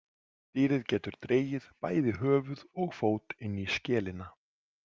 Dýrið getur dregið bæði höfuð og fót inn í skelina.